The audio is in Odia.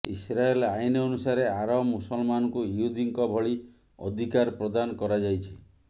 ଇସ୍ରାଏଲ ଆଇନ ଅନୁସାରେ ଆରବ ମୁସଲମାନଙ୍କୁ ଇହୁଦୀଙ୍କ ଭଳି ଅଧିକାର ପ୍ରଦାନ କରାଯାଇଛି